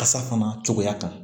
Kasa fana cogoya kan